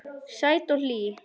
Sæt og hlý.